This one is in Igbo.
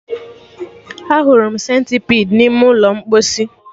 Ahụrụ m Sentipidi n'ime ụlọ mposi